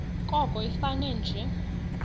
koko ifane nje